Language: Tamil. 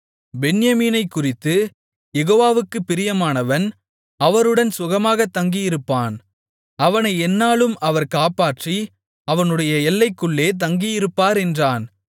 பென்யமீனைக்குறித்து யெகோவாவுக்குப் பிரியமானவன் அவருடன் சுகமாகத் தங்கியிருப்பான் அவனை எந்நாளும் அவர் காப்பாற்றி அவனுடைய எல்லைக்குள்ளே தங்கியிருப்பார் என்றான்